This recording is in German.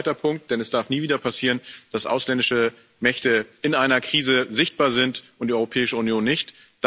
Und das ist mein zweiter Punkt Denn es darf nie wieder passieren, dass ausländische Mächte in einer Krise sichtbar sind und die Europäische Union nicht.